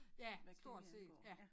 Ja stort set ja